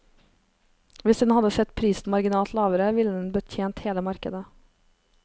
Hvis den hadde satt prisen marginalt lavere, ville den betjent hele markedet.